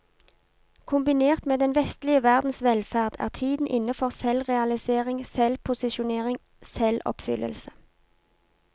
Kombinert med den vestlige verdens velferd er tiden inne for selvrealisering, selvposisjonering, selvoppfyllelse.